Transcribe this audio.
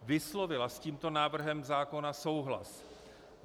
Vyslovila s tímto návrhem zákona souhlas.